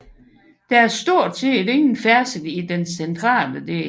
Der er stort set ingen færdsel i den centrale del